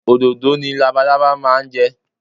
Òdòdó ni labalábá máa ń jẹ